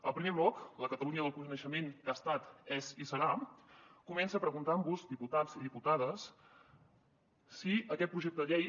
el primer bloc la catalunya del coneixement què ha estat és i serà comença preguntant vos diputats i diputades si aquest projecte de llei